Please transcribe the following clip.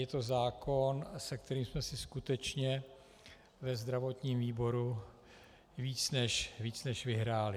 Je to zákon, se kterým jsme si skutečně ve zdravotním výboru víc než vyhráli.